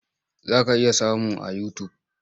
Za ka iya samun a yutub.